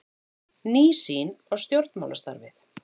Ný sýn á stjórnmálastarfið